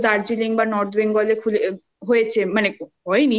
দার্জিলিং বা North Bengal হয়েছে মানে হয়নি আগে